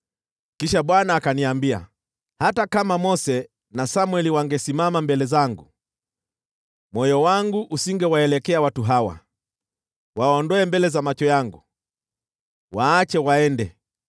Kisha Bwana akaniambia: “Hata kama Mose na Samweli wangesimama mbele zangu, moyo wangu usingewaelekea watu hawa. Waondoe mbele za macho yangu! Waache waende!